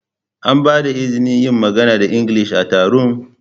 An ba da izinin yin magana da Ingilishi a taron?